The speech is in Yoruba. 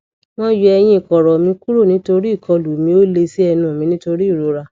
wọn yọ eyín kọrọ mi kúrò nítorí ìkọlù mi ò lè ṣí ẹnu mi nítorí ìrora